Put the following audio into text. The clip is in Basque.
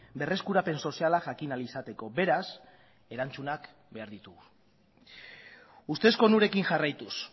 berreskurapen soziala jakin ahal izateko beraz erantzunak behar ditugu ustezko onurekin jarraituz